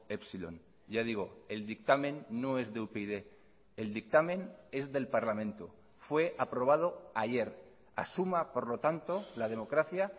epsilon ya digo el dictamen no es de upyd el dictamen es del parlamento fue aprobado ayer asuma por lo tanto la democracia